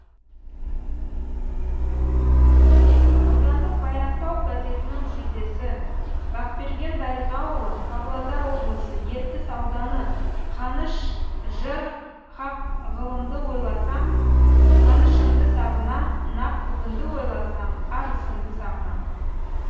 аудандық баянтау газетінің жүлдесі бақберген дариғаұлы павлодар облысы ертіс ауданы қаныш жыр хақ ғылымды ойласам қанышымды сағынам нақ бүгінді ойласам арысымды сағынам